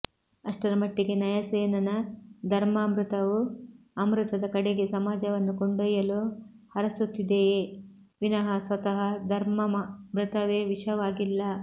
ಅಷ್ಟರ ಮಟ್ಟಿಗೆ ನಯಸೇನನ ಧರ್ಮಾಮೃತವು ಅಮೃತದ ಕಡೆಗೇ ಸಮಾಜವನ್ನು ಕೊಂಡೊಯ್ಯಲು ಹರಸುತ್ತಿದೆಯೇ ವಿನಃ ಸ್ವತಃ ಧರ್ಮಾ ಮೃತವೇ ವಿಷವಾಗಿಲ್ಲ